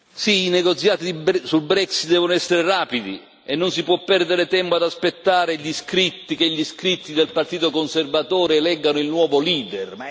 Sì, i negoziati sul Brexit devono essere rapidi e non si può perdere tempo ad aspettare che gli iscritti del partito conservatore eleggano il nuovo leader.